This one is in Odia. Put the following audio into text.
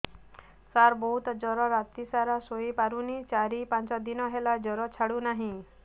ସାର ବହୁତ ଜର ରାତି ସାରା ଶୋଇପାରୁନି ଚାରି ପାଞ୍ଚ ଦିନ ହେଲା ଜର ଛାଡ଼ୁ ନାହିଁ